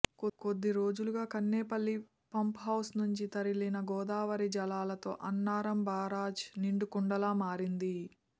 కొద్దిరోజులుగా కన్నెపల్లి పంప్హౌస్ నుంచి తరలిన గోదావరి జలాలతో అన్నారం బరాజ్ నిండుకుండలా మారింది